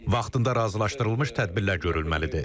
Vaxtında razılaşdırılmış tədbirlər görülməlidir.